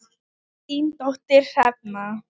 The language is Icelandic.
Þín dóttir, Hrefna.